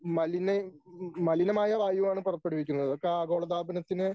മലിനെ മലിനമായ വായുവാണ് പുറപ്പെടുവിക്കുന്നത് ഇതൊക്കെ ആഗോളതാപനത്തിന്